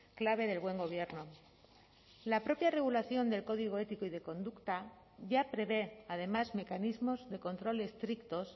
clave del buen gobierno la propia regulación del código ético y de conducta ya prevé además mecanismos de control estrictos